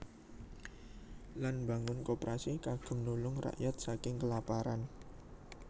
Lan mbangun Koperasi kagem nulung rakyat saking kelaparan